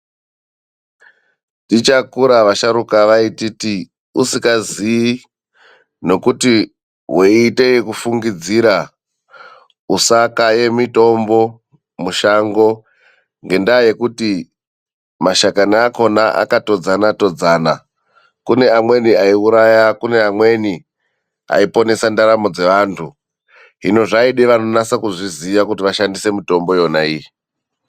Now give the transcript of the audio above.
Tichakura vasharuka vaititi, usikazii nokuti weiite ekufungidzira usakaye mitombo mushango, ngendaa yekuti mashakani akhona akatodzana-todzana. Kune amweni aiuraya, kune amweni aiponesa ndaramo dzeantu. Hino zvaida vanonasa kuzviziya kuti vashandise mitombo yona iyi.